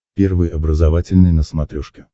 первый образовательный на смотрешке